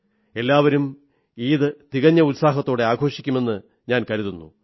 എല്ലാവരും ഈദ് തികഞ്ഞ ഉത്സാഹത്തോടെ ആഘോഷിക്കുമെന്നു കരുതുന്നു